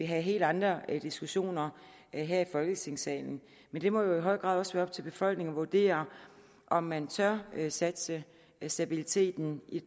have helt andre diskussioner her i folketingssalen men det må jo i høj grad også være op til befolkningen at vurdere om man tør satse stabiliteten i